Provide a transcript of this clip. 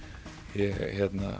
ég